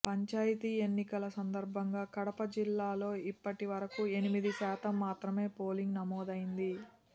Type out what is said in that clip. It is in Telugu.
పంచాయతీ ఎన్నికల సందర్భంగా కడప జిల్లాలో ఇప్పటి వరకు ఎనిమిది శాతం మాత్రమే పోలింగ్ నమోదైంది